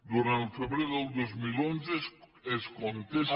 durant el febrer del dos mil onze es contesta